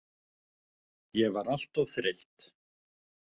Ég var alltof þreytt.